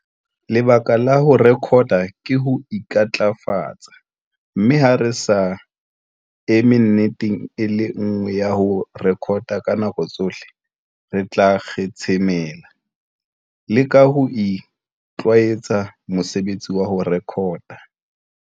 Lebaka la ho rekota ke ho intlafatsa, mme ha re sa eme nneteng e le nngwe ya ho rekota ka nako tsohle, re tla kgetshemela. Leka ho itlwaetsa mosebetsi wa ho rekota.